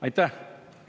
Aitäh!